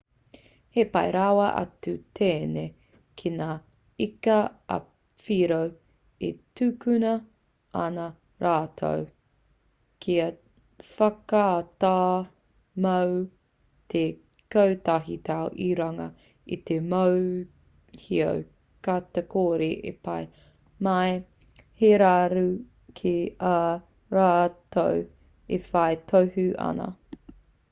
he pai rawa atu tēnei ki ngā ika ā-whiro e tukuna ana rātou kia whakatā mō te kotahi tau i runga i te mōhio ka kore e pā mai he raru ki ā rātou e whai tohu ana